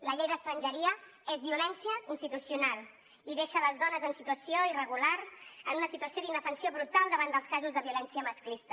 la llei d’estrangeria és violència institucional i deixa les dones en situació irregular en una situació d’indefensió brutal davant dels casos de violència masclista